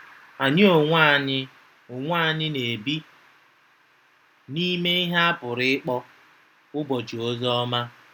Anyị onwe anyị onwe anyị na-ebi n'ime ihe a pụrụ ịkpọ "ụbọchị ozi ọma."